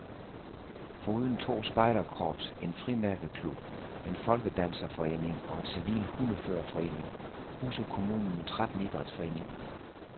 Foruden to spejderkorps, en frimærkeklub, en folkedanserforening og en civil hundeførerforening, huser kommunen tretten idrætsforeninger.